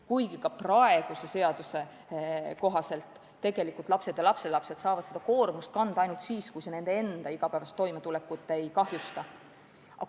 Kuigi ka praegune seadus tunnistab, et tegelikult lapsed ja lapselapsed saavad seda koormust kanda ainult siis, kui see nende enda igapäevast toimetulekut ei kahjusta.